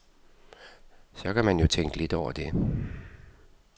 Så kan man jo tænke lidt over det.